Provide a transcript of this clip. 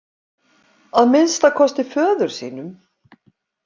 Að minnsta kosti föður sínum.